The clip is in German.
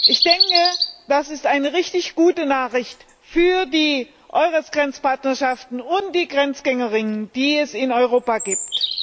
Ich denke, das ist eine richtig gute Nachricht für die EURES Grenzpartnerschaften und die GrenzgängerInnen, die es in Europa gibt.